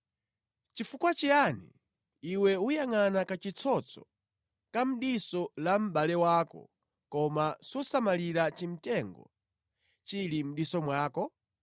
“Chifukwa chiyani iwe uyangʼana kachitsotso ka mʼdiso la mʼbale wako koma susamalira chimtengo chili mʼdiso mwako?